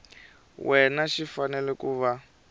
wena xi fanele ku va